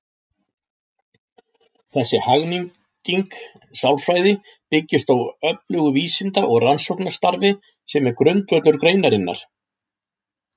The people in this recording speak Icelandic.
Þessi hagnýting sálfræði byggist á öflugu vísinda- og rannsóknarstarfi sem er grundvöllur greinarinnar.